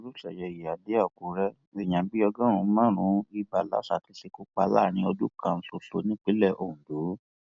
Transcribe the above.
olùṣeyẹ ìyíáde àkùrẹ èèyàn bíi ọgọrin lárùn ibà lásà ti ṣekú pa láàrin ọdún kan ṣoṣo nípínlẹ ondo